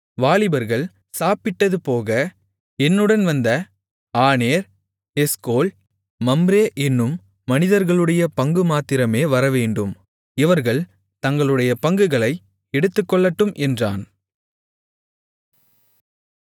வாலிபர்கள் சாப்பிட்டதுபோக என்னுடன் வந்த ஆநேர் எஸ்கோல் மம்ரே என்னும் மனிதர்களுடைய பங்குமாத்திரமே வரவேண்டும் இவர்கள் தங்களுடைய பங்குகளை எடுத்துக்கொள்ளட்டும் என்றான்